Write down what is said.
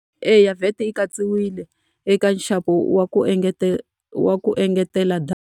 Eya VAT yi katsiwile eka nxavo wa ku wa ku engetela data.